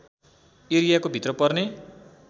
एरियाको भित्र पर्ने